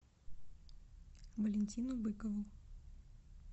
валентину быкову